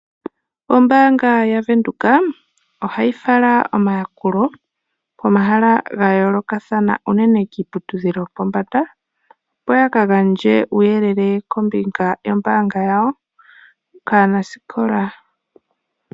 Ombanga yaVenduka, ohayi fala omayakulo komahala ga yoolokathana unene kiiputudhilo yopombanda, opo yaka gandje uuyelele kombinga yombanga yawo kaanasikola.